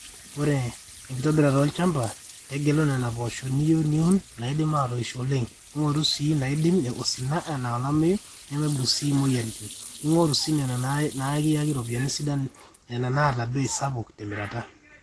enkitobirata olchamba; tegela nena poosho niyieu niun naaidim aatoisho oleng, ng'oru sii naaidim osina enaa elameyu nemeibung sii imweyiaritin, ning'oru sii nena nikiyaki iropiyiani sidan nena naata bei sapuk temirata